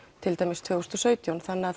til dæmis tvö þúsund og sautján þannig